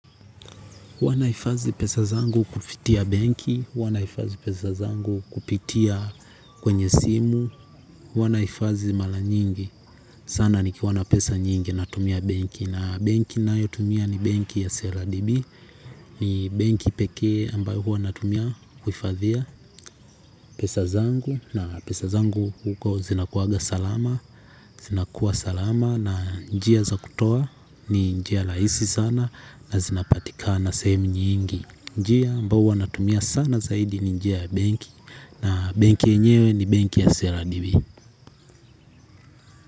Huanahifadhi pesa zangu kupitia benki, huanahifadhi pesa zangu kupitia kwenye simu, huanahifadhi mara nyingi, sana nikiwa na pesa nyingi natumia benki na benki ninayotumia ni benki ya Seradibi, ni benki pekee ambayo hua natumia kuhifadhia pesa zangu na pesa zangu huko zinakuwaga salama, zinakuwa salama na njia za kutoa ni njia raisi sana na zinapatika na sehemu nyingi. Njia mbao huanatumia sana zaidi ni njia ya benki. Na benki yenyewe ni benki ya CRDB.